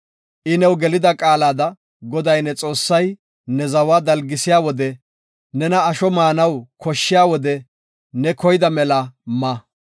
I new gelida qaalada Goday ne Xoossay ne zawa daligisiya wode nena asho maanaw koshshiya wode ne koyida mela ma.